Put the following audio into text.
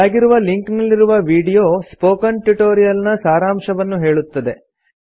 ಕೆಳಗಿರುವ ಲಿಂಕ್ ನಲ್ಲಿರುವ video spoken tutorial ನ ಸಾರಾಂಶವನ್ನು ಹೇಳುತ್ತದೆ